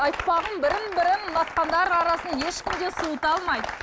айтпағым бірін бірін ұнатқандар арасын ешкім де суыта алмайды